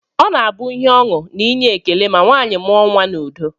Ọ na-abụ ihe ọṅụ na inye ekele ma nwaanyị mụọ nnwa n'udo